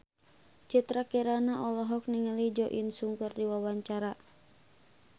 Citra Kirana olohok ningali Jo In Sung keur diwawancara